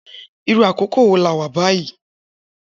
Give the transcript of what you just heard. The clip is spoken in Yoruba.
Irù àkókó wó là wà bàyí?